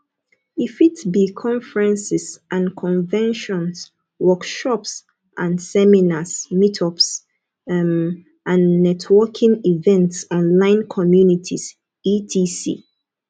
e fit be conferences and conventions workshops and seminars meetups um and networking events online communities etc